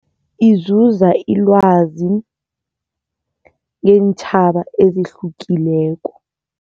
Izuza ilwazi ngeentjhaba ezihlukileko.